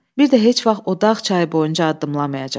Bir də heç vaxt o dağ çayı boyunca addımlamayacaq.